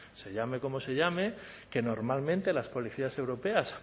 se llame como se llame que normalmente las policías europeas